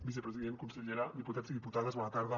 vicepresident consellera diputats i diputades bona tarda